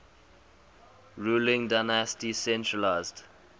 ruling dynasty centralised